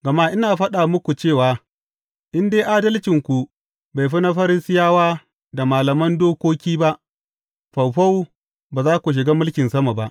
Gama ina faɗa muku cewa in dai adalcinku bai fi na Farisiyawa da na malaman dokoki ba, faufau, ba za ku shiga mulkin sama ba.